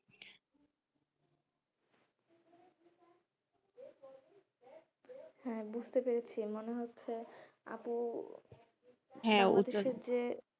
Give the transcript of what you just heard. হ্যাঁ বুঝতে পেরেছি মনে হচ্ছে আপু